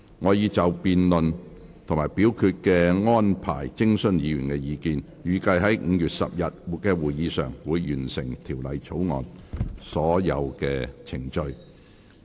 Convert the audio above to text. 我已就辯論及表決安排徵詢議員意見，預計於5月10日的會議上，會完成《條例草案》的所有程序。